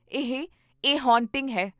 ਇਹ 'a haunting' ਹੈ